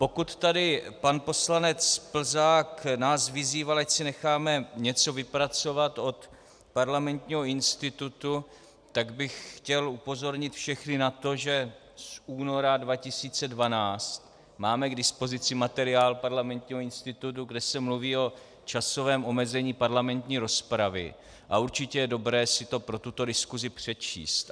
Pokud tady pan poslanec Plzák nás vyzýval, ať si necháme něco vypracovat od Parlamentního institutu, tak bych chtěl upozornit všechny na to, že z února 2012 máme k dispozici materiál Parlamentního institutu, kde se mluví o časovém omezení parlamentní rozpravy, a určitě je dobré si to pro tuto diskusi přečíst.